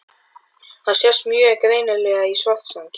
Þetta sést mjög greinilega í Svartsengi.